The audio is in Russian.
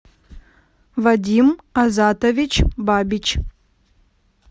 вадим азатович бабич